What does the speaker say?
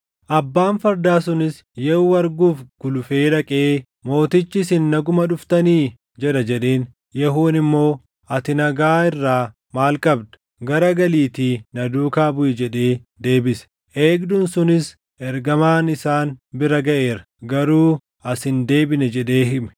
Abbaan fardaa sunis Yehuu arguuf gulufee dhaqee, “Mootichi, ‘Isin naguma dhuftanii?’ jedha” jedheen. Yehuun immoo, “Ati nagaa irraa maal qabda? Garagaliitii na duukaa buʼi” jedhee deebise. Eegduun sunis, “Ergamaan isaan bira gaʼeera; garuu as hin deebine” jedhee hime.